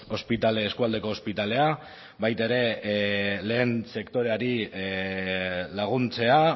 ospitale eskualdeko ospitalea baita ere lehen sektoreari laguntzea